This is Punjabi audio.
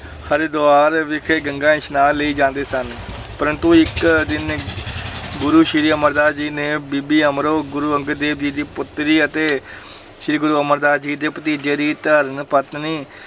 ਹਰਿਦੁਆਰ ਵਿਖੇ ਗੰਗਾ ਇਸ਼ਨਾਨ ਲਈ ਜਾਂਦੇ ਸਨ ਪਰੰਤੂ ਇੱਕ ਦਿਨ ਗੁਰੂ ਸ੍ਰੀ ਅਮਰਦਾਸ ਜੀ ਨੇ ਬੀਬੀ ਅਮਰੋ ਗੁਰੂ ਅੰਗਦ ਦੇਵ ਜੀ ਦੀ ਪੁੱਤਰੀ ਅਤੇ ਸ੍ਰੀ ਗੁਰੂ ਅਮਰਦਾਸ ਜੀ ਦੇ ਭਤੀਜੇ ਦੀ ਧਰਮ ਪਤਨੀ